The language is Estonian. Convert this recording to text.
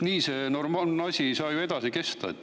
Nii see asi ei saa edasi kesta.